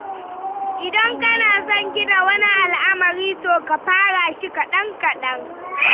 Idan kana son gina wani al'amari to ka fara shi kaɗan-kaɗan.